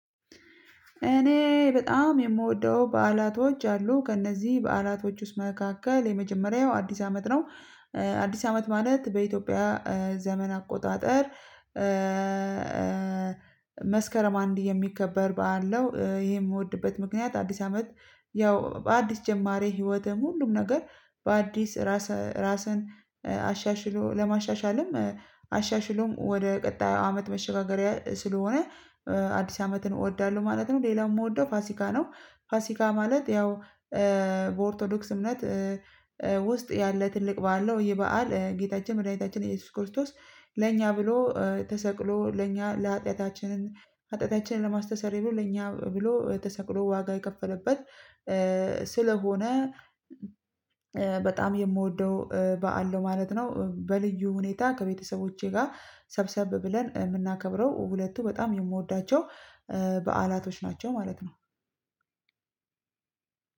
እኔ በጣም የምወደው በዓላቶች አሉ ከእነዚህ በዓላቶች ውስጥ መካከል የመጀመሪያው አዲስ አመት ነው አዲስ አመት ማለት በኢትዮጵያ ዘመን አቆጣጠር መስከረም አንድ የሚከበር በዓል ነው። ይሄን የምወድበት ምክንያት አዲስ አመት ያው በአዲስ ጀማሪ ህይወትም ሁሉም ነገር በአዲስ ራስ ራስን አሻሽሎ ለማሻሻልም አሻሽሎም ወደ ቀጣዩ አመት መሸጋገሪያ ስለሆነ አዲስ አመትን እወዳለሁ ማለት ነው። ሌላው የምወደው ፋሲካ ነው ፋሲካ ማለት ያው በኦርቶዶክስነት ውስጥ ያለ ትልቅ በዓለ ነው ይህ በዓል ጌታችን መድኃኒታችን ኢየሱስ ክርስቶስ ለእኛ ብሎ ተሰቅሎ ለእኛ ለሀጢያታችንን ሀጢያታችንን ለማስተሰር ብሎ ለኛ ብሎ ተሰቅሎ ዋጋ የከፈለበት ስለሆነ በጣም የምወደው በዓል ነው ማለት ነው። በልዩ ሁኔታ ከቤተሰቦቼ ጋር ሰብሰብ ብለን የምናከብረው ሁለቱ በጣም የምወዳቸው በዓላቶች ናቸው ማለት ነው።